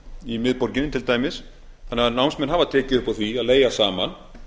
í miðborginni til dæmis þannig að námsmenn hafa tekið upp á því að leigja saman